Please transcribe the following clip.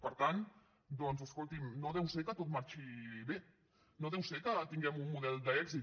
per tant escolti no deu ser que tot marxi bé no deu ser que tinguem un model d’èxit